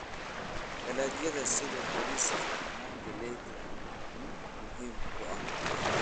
Dalagyada sida bariiska na galayda ni muhiim u ah cunto.